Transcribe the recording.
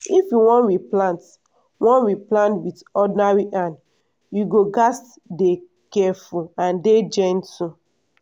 if you wan replant wan replant with ordinary hand you go gats dey careful and dey gentle.